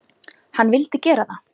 Hann vildi gera það.